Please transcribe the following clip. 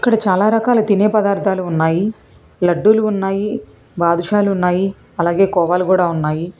ఇక్కడ చాలా రకాల తినే పదార్థాలు ఉన్నాయి లడ్డూలు ఉన్నాయి బాదుషాలు ఉన్నాయి అలాగే కోవాలు కూడా ఉన్నాయి.